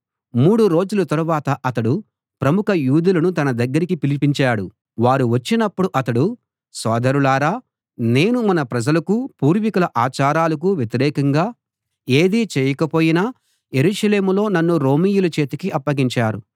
మూడు రోజుల తరువాత అతడు ప్రముఖ యూదులను తన దగ్గరికి పిలిపించాడు వారు వచ్చినప్పుడు అతడు సోదరులారా నేను మన ప్రజలకూ పూర్వీకుల ఆచారాలకూ వ్యతిరేకంగా ఏదీ చేయకపోయినా యెరూషలేములో నన్ను రోమీయుల చేతికి అప్పగించారు